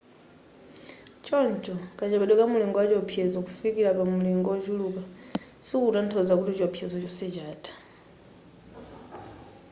choncho kachepedwe ka mulingo wa chiopsezo kufikira pa mulingo ochuluka sikukutanthauza kuti chiopsezo chonse chatha